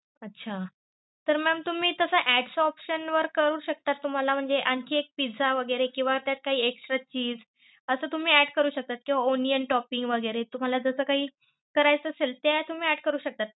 अच्छा! तर mam तुम्ही तस add च option करू शकतात, तुम्हाला म्हणजे आणखी एक पिझ्झा वैगेरे किंवा त्यात काही extra चिझ असं तुम्ही add शकता किंवा onion toping वैगेरे तुमाला जस काही करायचं असेल त्यात add करू शकतात.